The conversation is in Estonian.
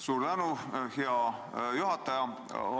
Suur tänu, hea juhataja!